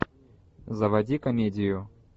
заводи комедию